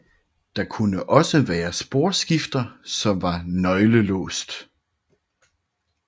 Der kunne også være sporskifter som var nøgleaflåst